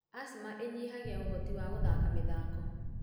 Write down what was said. Asthma ĩnyihagia ũhoti wa gũthaka mĩthako.